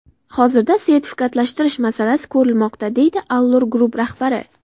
Hozirda sertifikatlashtirish masalasi ko‘rilmoqda, deydi Allur Group rahbari.